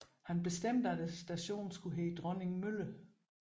Han bestemte at stationen skulle hedde Dronningmølle